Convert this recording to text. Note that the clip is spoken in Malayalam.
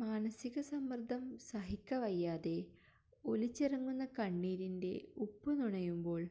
മാനസികസമ്മര്ദ്ദം സഹിക്കവയ്യാതെ ഒലിച്ചിറങ്ങുന്ന കണ്ണീരിന്റെ ഉപ്പുനുണയുമ്പോള്